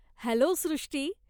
Hello Srushti!